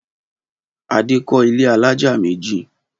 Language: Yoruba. Adé kọ́ ilé alájà méjì.